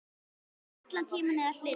Vera allan tímann eða hluta.